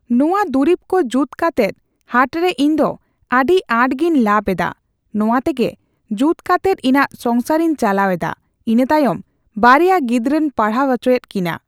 ᱱᱚᱣᱟ ᱫᱩᱨᱤᱵ ᱠᱚ ᱡᱩᱛ ᱠᱟᱛᱮᱫ ᱦᱟᱴᱨᱮ ᱤᱧᱫᱚ ᱟᱹᱰᱤ ᱟᱸᱴᱜᱤᱧ ᱞᱟᱵᱷ ᱮᱫᱟ ᱱᱚᱣᱟ ᱛᱮᱜᱮ ᱡᱩᱛ ᱠᱟᱛᱮᱫ ᱤᱧᱟᱹᱜ ᱥᱚᱝᱥᱟᱨ ᱤᱧ ᱪᱟᱞᱟᱣ ᱮᱫᱟ ᱤᱱᱟᱹᱛᱟᱭᱚᱢ ᱵᱟᱨᱭᱟ ᱜᱤᱫᱽᱨᱟᱹᱧ ᱯᱟᱲᱦᱟᱣ ᱦᱚᱪᱚᱭᱮᱫ ᱠᱤᱱᱟ